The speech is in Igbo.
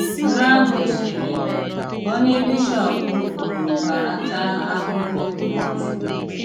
Nnè àhụ sị̀rì: "Ónyé bishọp kwùrù bàràtà àhụhụ Nwosù.